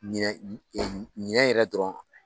Ɲinɛ ɲinɛ yɛrɛ dɔrɔn.